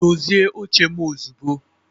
dozie oche m ozugbo